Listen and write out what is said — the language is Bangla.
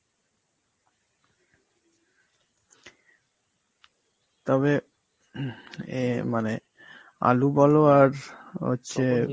তবে এ মানে আলু বলো আর হচ্ছে